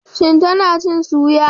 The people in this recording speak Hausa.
Shin tana cin soya?